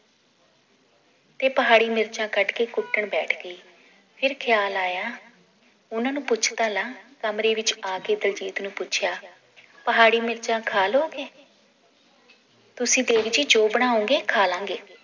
ਤੇ ਪਹਾੜੀ ਮਿਰਚਾਂ ਕੱਟ ਕੇ ਕੁੱਟਣ ਬੈਠ ਗਈ ਫਿਰ ਖਿਆਲ ਆਇਆ ਉਹਨਾਂ ਨੂੰ ਪੁੱਛ ਤਾਂ ਲਾਂ ਕਮਰੇ ਵਿਚ ਆ ਕੇ ਦਿਲਜੀਤ ਨੂੰ ਪੁੱਛਿਆ ਪਹਾੜੀ ਮਿਰਚਾਂ ਖਾ ਲੋਗੇ ਤੁਸੀ ਦੇਵੀ ਜੀ ਜੋ ਬਣਾਉਂਗੇ ਖਾ ਲਾਂਗੇ